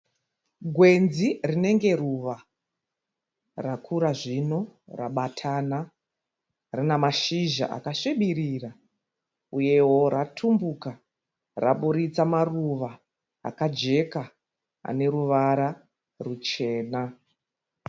Gwenzi rinenge ruva, rakura zvino rabatana. Rinamashizha akasvibirira uyewo ratumbuka raburitsa maruva akajeka aneruvara ruchena.